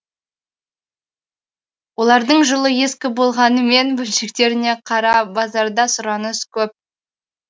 олардың жылы ескі болғанымен бөлшектеріне қара базарда сұраныс көп